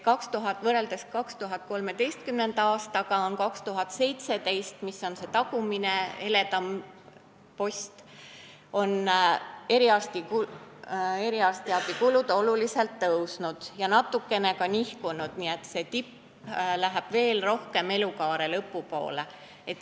Võrreldes aastat 2013 aastaga 2017 – slaidil see tagumine heledam post – on eriarstiabi kulud tuntavalt tõusnud ja natuke ka nihkunud, nii et see tipp läheb veel rohkem elukaare lõpu poole.